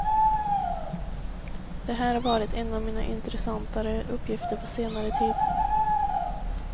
Det här har varit en av mina intressantare uppgifter på senare tid.